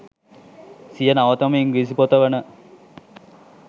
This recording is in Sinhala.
සිය නවතම ඉංග්‍රීසී පොත වන